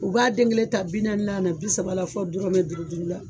U b'a den kelen ta bi naaninan la bi saba la fɔ dɔrɔmɛ dugu dugu la.